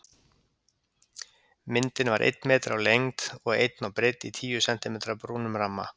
Myndin var einn metri á lengd og einn á breidd í tíu sentímetra brúnum ramma.